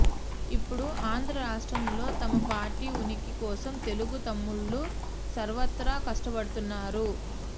ఇప్పుడు ఆంధ్ర రాష్ట్రంలో తమ పార్టీ ఉనికి కోసం తెలుగు తమ్ముళ్లు సర్వత్రా కష్టపడుతున్నారు